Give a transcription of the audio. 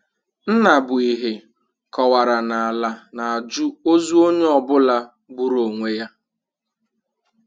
Nnabuihe kọwara na Ala na-ajụ ọzụ ọnyeọbụla gbụrụ ọnwe ya.